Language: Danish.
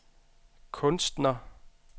kunstner